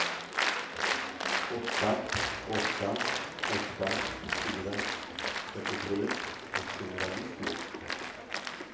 åtta åtta åtta fyra fyrtiotre etthundranittio